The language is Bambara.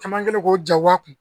Caman kɛlen ko ja kun